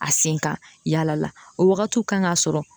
A sen ka yaala la o wagatiw kan ka sɔrɔ